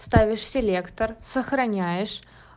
ставишь селектор сохраняешь